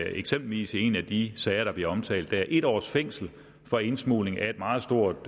eksempelvis i en af de sager der bliver omtalt der er blevet givet en års fængsel for indsmugling af et meget stort